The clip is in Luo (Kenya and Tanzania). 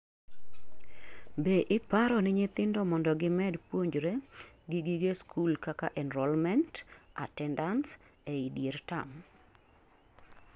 Be iparoni nyithindo mondo gimed puonjre gi gige skul kaka enrolment, attendance ei dier term?